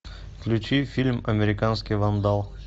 включи фильм американский вандал